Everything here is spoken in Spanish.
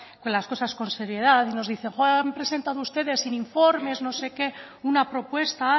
con las cosas con seriedad nos dicen no han presentado ustedes informes no sé qué una propuesta